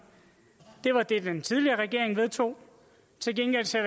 er det den tidligere regering vedtog til gengæld ser